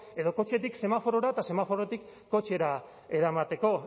edo kotxetik semaforora eta semaforotik kotxera eramateko